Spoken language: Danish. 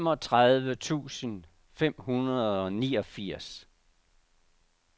femogtredive tusind fem hundrede og niogfirs